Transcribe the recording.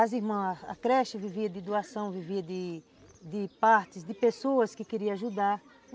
As irmãs, a creche vivia de doação, vivia de de partes, de pessoas que queriam ajudar.